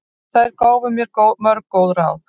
Þær gáfu mér mörg góð ráð.